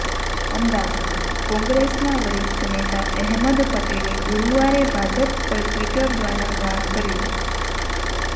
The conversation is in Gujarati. અમદાવાદઃ કોંગ્રેસના વરિષ્ઠ નેતા અહેમદ પટેલે ગુરુવારે ભાજપ પર ટ્વિટર દ્વારા વાર કર્યો